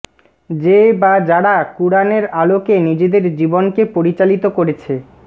যে বা যারা কুরআনের আলোকে নিজেদের জীবনকে পরিচালিত করেছে